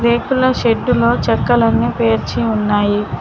రేకుల షెడ్డు లో చెక్కలన్నీ పేర్చి ఉన్నాయి.